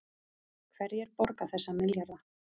Hverjir borga þessa milljarða